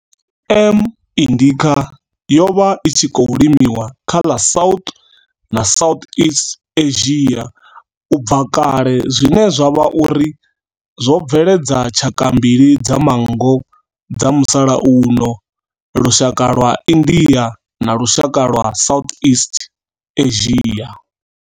M. indica yo vha i tshi khou limiwa kha ḽa South na Southeast Asia ubva kale zwine zwa vha uri zwo bveledza tshaka mbili dza manngo dza musalauno lushaka lwa India na lushaka lwa Southeast Asia.